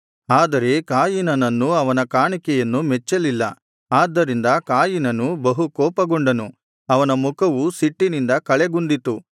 ಆದರೆ ಕಾಯಿನನನ್ನೂ ಅವನ ಕಾಣಿಕೆಯನ್ನೂ ಮೆಚ್ಚಲಿಲ್ಲ ಆದ್ದರಿಂದ ಕಾಯಿನನು ಬಹು ಕೋಪಗೊಂಡನು ಅವನ ಮುಖವು ಸಿಟ್ಟಿನಿಂದ ಕಳೆಗುಂದಿತು